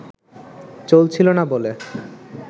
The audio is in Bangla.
চলছিল না বলে